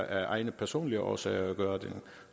af egne personlige årsager vælger at gøre det